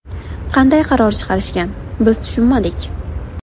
Qanday qaror chiqarishgan, biz tushunmadik.